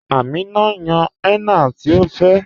Àmínà ǹ yán henna tí ọ fẹ́